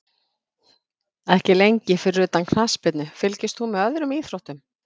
Ekki lengi Fyrir utan knattspyrnu, fylgist þú með öðrum íþróttum?